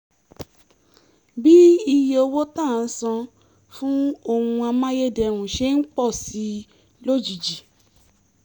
bí iye owó tá à ń san fún ohun amáyédẹrùn ṣe ń pọ̀ sí i lójijì